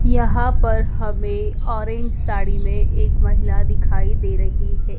यहां पर हमें ऑरेंज साड़ी में एक महिला दिखाई दे रही है।